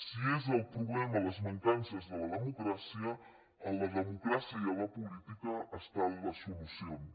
si és el problema les mancances de la democràcia a la democràcia i a la política hi ha les solucions